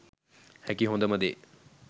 හැකි හොදම දේ